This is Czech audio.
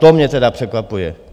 To mě tedy překvapuje.